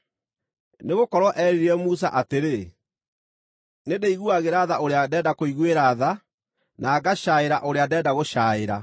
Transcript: Nĩgũkorwo erire Musa atĩrĩ, “Nĩndĩiguagĩra tha ũrĩa ndenda kũiguĩra tha, na ngacaĩra ũrĩa ndenda gũcaĩra.”